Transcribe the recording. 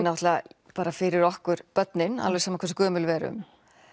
náttúrulega bara fyrir okkur börnin alveg sama hversu gömul við erum